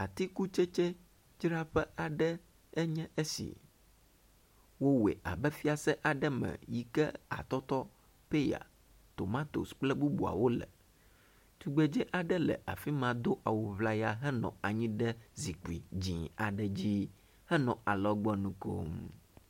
Atikutsetsedzraƒe aɖe enye esi. Wowoe abe fiase aɖe me yi ke atɔtɔ, peya, tomatosi kple bubuawo le. Tugbedzɛ aɖe no afi ma do awu ŋlaya henɔ anyi ɖe zikpui dzɛ̃ aɖe dzi henɔ alɔgbɔnu kom.